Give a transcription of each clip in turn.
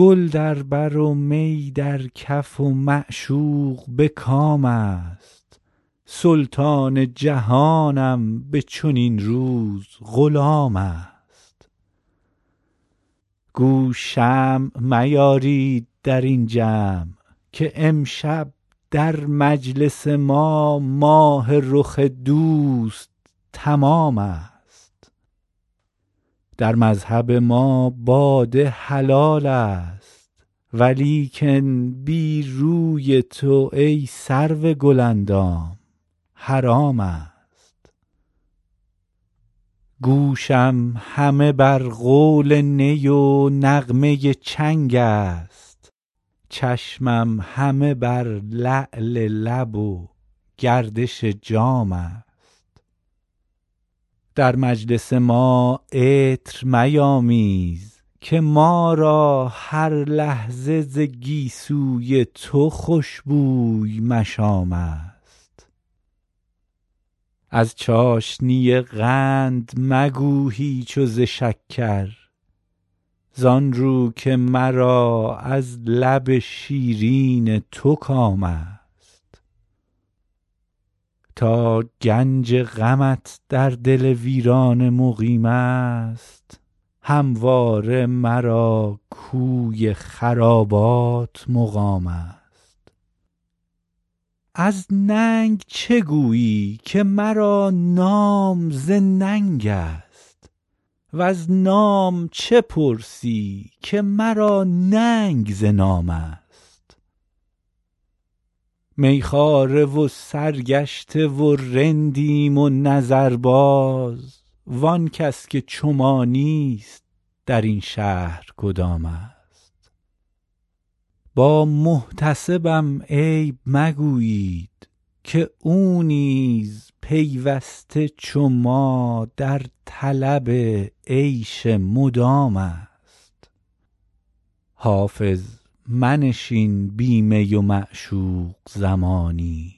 گل در بر و می در کف و معشوق به کام است سلطان جهانم به چنین روز غلام است گو شمع میارید در این جمع که امشب در مجلس ما ماه رخ دوست تمام است در مذهب ما باده حلال است ولیکن بی روی تو ای سرو گل اندام حرام است گوشم همه بر قول نی و نغمه چنگ است چشمم همه بر لعل لب و گردش جام است در مجلس ما عطر میامیز که ما را هر لحظه ز گیسو ی تو خوش بوی مشام است از چاشنی قند مگو هیچ و ز شکر زآن رو که مرا از لب شیرین تو کام است تا گنج غمت در دل ویرانه مقیم است همواره مرا کوی خرابات مقام است از ننگ چه گویی که مرا نام ز ننگ است وز نام چه پرسی که مرا ننگ ز نام است می خواره و سرگشته و رندیم و نظرباز وآن کس که چو ما نیست در این شهر کدام است با محتسبم عیب مگویید که او نیز پیوسته چو ما در طلب عیش مدام است حافظ منشین بی می و معشوق زمانی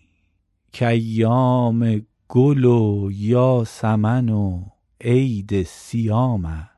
کایام گل و یاسمن و عید صیام است